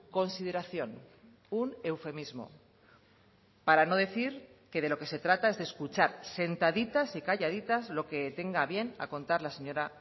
consideración un eufemismo para no decir que de lo que se trata es de escuchar sentaditas y calladitas lo que tenga a bien a contar la señora